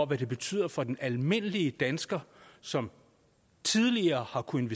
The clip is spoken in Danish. hvad det betyder for den almindelige dansker som tidligere har kunnet